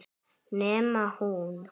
Nema hún.